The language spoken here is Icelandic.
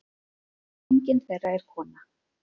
Enginn þeirra er kona.